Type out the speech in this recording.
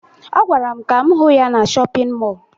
Ọ gwara m ka m hụ ya na shọpịn mọọ